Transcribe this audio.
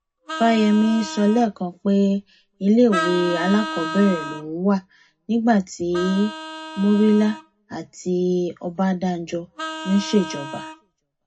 fáyẹmi sọ lẹẹkan pé iléèwé alákọọbẹrẹ lòun wà nígbà tí murila àti ọbadànjọ ń ṣèjọba